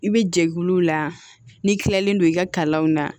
I bɛ jɛkulu la n'i kilalen don i ka kalanw na